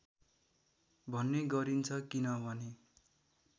भन्ने गरिन्छ किनभने